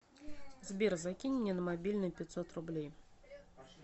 сбер закинь мне на мобильный пятьсот рублей